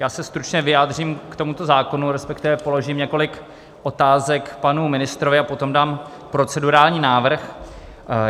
Já se stručně vyjádřím k tomuto zákonu, respektive položím několik otázek panu ministrovi a potom dám procedurální návrh.